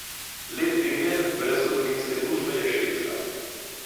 Lep primer brezgotovinske družbe je Švedska.